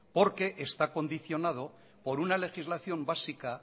porque está condicionado por una legislación básica